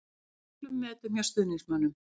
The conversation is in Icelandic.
Hann er í miklum metum hjá stuðningsmönnum.